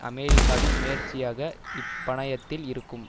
அமெரிக்காவின் முயற்சியாக இப்பணயத்தில் இருக்கும்